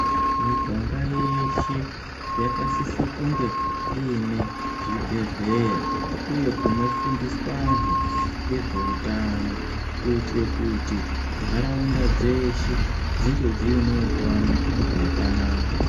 Miganga yeshe yakasise kunge ine zvibhehleya uye kunofundiswa anhu ngezveutano kuitire kuti nharaunda dzeshe dzinge dziine utano hwakanaka.